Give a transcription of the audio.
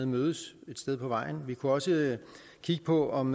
mødes et sted på vejen vi kunne også kigge på om